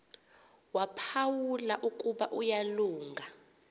waphawula ukuba uyalunga